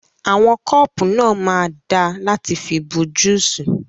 Àwọn kọ́pù náà máa da láti fi bu júsì.